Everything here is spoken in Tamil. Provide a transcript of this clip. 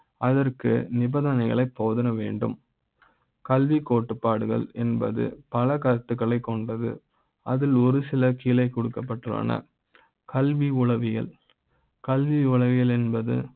அதற்கு நிபந்தனைகளை போக வேண்டும் கல்வி கோட்பாடுகள் என்பது பல கருத்துக்களை க் கொண்டது அதில் ஒரு சில கீழே கொடுக்கப்பட்டுள்ளன. கல்வி, உளவியல், கல்வி, உளவியல் என்பது